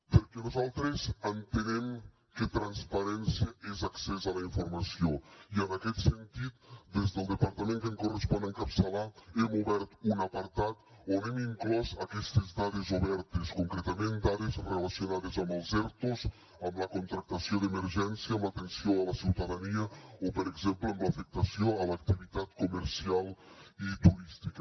perquè nosaltres entenem que transparència és accés a la informació i en aquest sentit des del departament que em correspon encapçalar hem obert un apartat on hem inclòs aquestes dades obertes concretament dades relacionades amb els ertos amb la contractació d’emergència amb l’atenció a la ciutadania o per exemple amb l’afectació a l’activitat comercial i turística